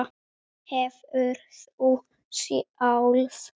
Hefurðu sjálf?